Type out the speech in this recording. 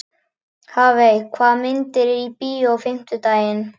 Hafey, hvaða myndir eru í bíó á fimmtudaginn?